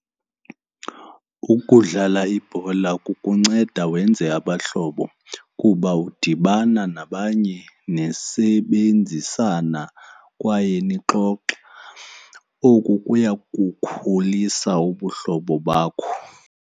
Ukudlala ibhola kukunceda wenze abahlobo kuba udibana nabanye nisebenzisana kwaye nixoxe, oku kuya kukhulisa ubuhlobo bakho.